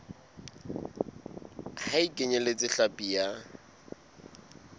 ha e kenyeletse hlapi ya